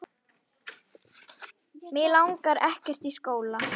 Mig langar ekkert í skóla.